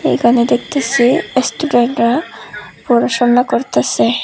এখানে দেখতাসি এসস্টুডেন্টরা পড়াশোনা করতাসে।